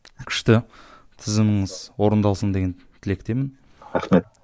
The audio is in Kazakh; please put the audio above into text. күшті тізіміңіз орындалсын деген тілектемін рахмет